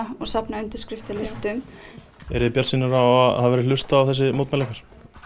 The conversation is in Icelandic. og safna undirskriftalistum eruð þið bjartsýnar á að það verði hlustað á þessi mótmæli ykkar